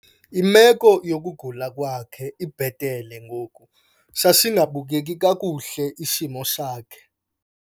Imeko yokugula kwakhe ibhetele ngoku. Sasingabukeki kakhule isimo sakhe